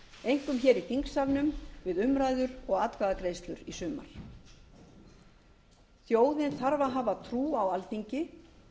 einkum hér í þingsalnum við umræður og atkvæðagreiðslur í sumar þjóðin þarf að hafa trú á alþingi